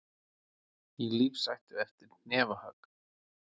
Í lífshættu eftir hnefahögg